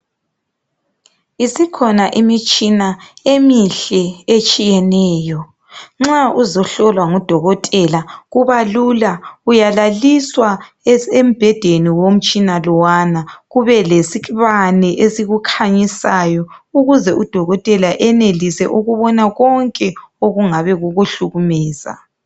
isikhona imitshina emihle etshiyeneyo nxa uzohlolwa ngu dokotela kubalula uyalaliswa embhedeni womtshina lowana kube lesibane esikukhanyisayo ukuze u dokotela enelise ukubona konke okungabe kukuhlukumeza